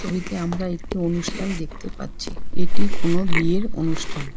ছবিতে আমরা একটি অনুষ্ঠান দেখতে পাচ্ছি এটি কোনো বিয়ের অনুষ্ঠান।